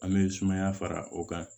An bɛ sumaya fara o kan